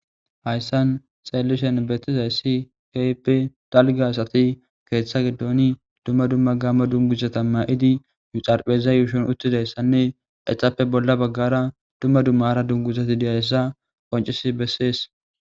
hayssan xeellishen betizayssi kehipe dalga asati keeththa gedooni dumma dumma gaama dunguzata ma7idi yu xarpheza yuushon uttidayssanne exappe bolla baggara dumma dumma ra dunguzati deyayssa qoncisi bessees